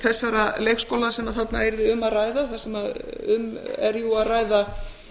þessara leikskóla sem þarna yrði um að ræða þar sem um er jú að ræða